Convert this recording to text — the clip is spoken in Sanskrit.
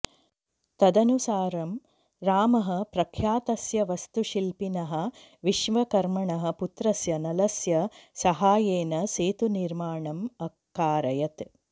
तदनुसारं रामः प्रख्यातस्य वास्तुशिल्पिनः विश्वकर्मणः पुत्रस्य नलस्य साहाय्येन सेतुनिर्मणम् अकारयत्